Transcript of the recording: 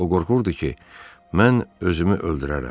O qorxurdu ki, mən özümü öldürərəm.